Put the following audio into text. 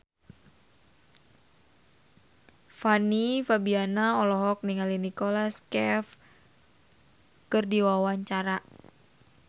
Fanny Fabriana olohok ningali Nicholas Cafe keur diwawancara